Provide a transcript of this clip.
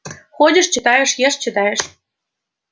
ходишь читаешь ешь читаешь